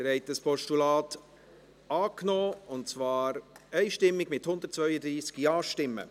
Sie haben dieses Postulat einstimmig angenommen mit 132 Ja-Stimmen.